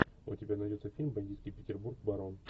у тебя найдется фильм бандитский петербург барон